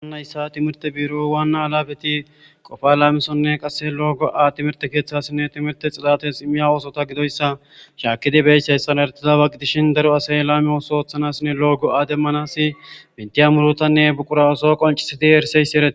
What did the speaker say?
Haysa timhrt biro Wana alapet Qopa lamisonne qase timirte kethasinne timirte xidase imizaysa gidoysa shakid besizaysa gidishn daro asay lame otho othanasinne lo'o go'a demanas betiya murutane buqura otho qoncisid erisyayas eret....